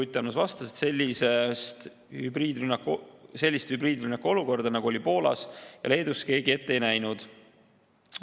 Ruth Annus vastas, et sellist hübriidrünnaku olukorda, nagu oli Poolas ja Leedus, keegi ette ei näinud.